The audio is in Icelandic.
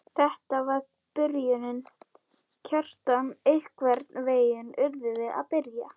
Þetta var byrjunin, Kjartan, einhvern veginn urðum við að byrja.